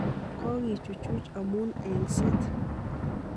Kokichuchuj amu engset.